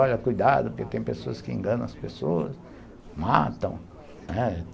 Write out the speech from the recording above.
Olha, cuidado, porque tem pessoas que enganam as pessoas, matam, né.